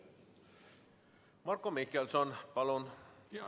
Marko Mihkelson, palun!